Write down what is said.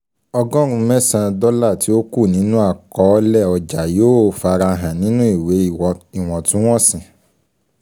Ọgọ́rùn mẹsan dọ́là tí ó kù nínú àkọolé ọjà yóò fara hàn nínú ìwé iwọntún-wọ̀nsì